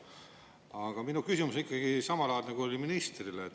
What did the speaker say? Aga minu küsimus on ikkagi samalaadne, kui oli ministrile.